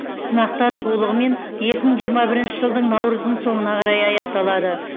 сынақтар толығымен екі мың жиырма бірінші жылдың наурыздың соңына қарай аяқталады